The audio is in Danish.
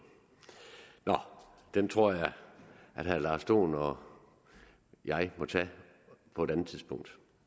nå den tror jeg at herre lars dohn og jeg må tage på et andet tidspunkt